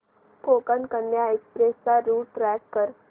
Konkan Kanya express चा route track कर